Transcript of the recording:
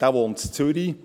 Dieser wohnt in Zürich.